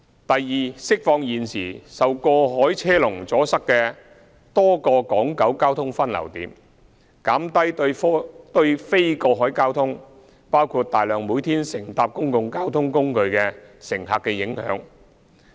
第二，釋放現時受過海車龍阻塞的多個港九交通分流點，減低對非過海交通，包括大量每天乘搭公共交通工具的乘客的影響。